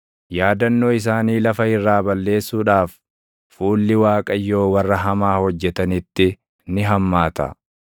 yaadannoo isaanii lafa irraa balleessuudhaaf, fuulli Waaqayyoo warra hamaa hojjetanitti ni hammaata.